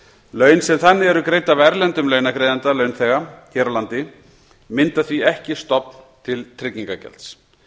laun sem þannig eru greidd af erlendum launagreiðanda launþega hér á landi mynda því ekki stofn til tryggingagjalds